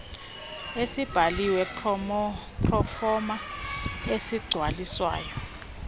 esibhaliwe proforma osigcwalisayo